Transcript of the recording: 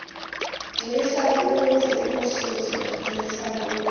dirisa puo tshedimosetso dirisa puo